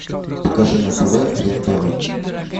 покажи на тв рен тв